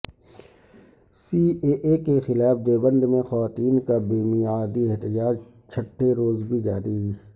C A A کے خلاف دیوبندمیں خواتین کا بے میعادی احتجاج چھٹے روز بھی جاری